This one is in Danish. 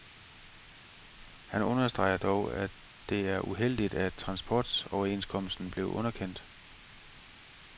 Han understreger dog, at det er uheldigt, at transportoverenskomsten blev underkendt.